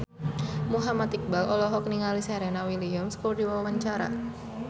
Muhammad Iqbal olohok ningali Serena Williams keur diwawancara